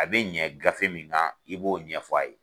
A bɛ ɲɛ gafe min na i b'o ɲɛfɔ a ye